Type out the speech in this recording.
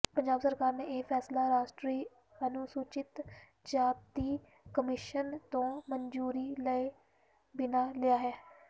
ਪੰਜਾਬ ਸਰਕਾਰ ਨੇ ਇਹ ਫ਼ੈਸਲਾ ਰਾਸ਼ਟਰੀ ਅਨੁਸੂਚਿਤ ਜਾਤੀ ਕਮਿਸ਼ਨ ਤੋਂ ਮਨਜ਼ੂਰੀ ਲਏ ਬਿਨਾਂ ਲਿਆ ਹੈ